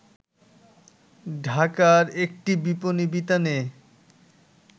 ঢাকার একটি বিপণী বিতানে